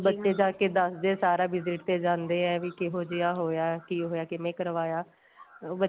ਬੱਚੇ ਜਾ ਕੇ ਦੱਸਦੇ ਏ ਸਾਰਾ visit ਤੇ ਜਾਂਦੇ ਏ ਵੀ ਕਿਹੋ ਜਿਹਾ ਹੋਇਆ ਕੀ ਹੋਇਆ ਕਿੰਨੇ ਕਰਵਾਇਆ ਉਹ